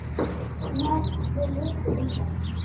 Hún hafði lesið um það.